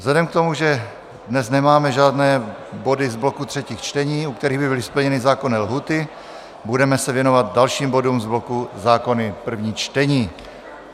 Vzhledem k tomu, že dnes nemáme žádné body z bloku třetích čtení, u kterých by byly splněny zákonné lhůty, budeme se věnovat dalším bodům z bloku zákony první čtení.